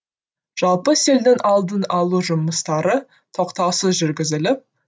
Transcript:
жалпы селдің алдын алу жұмыстары тоқтаусыз жүргізіліп